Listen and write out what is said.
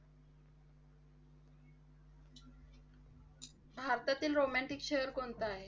भारतातील romantic शहर कोणतं आहे?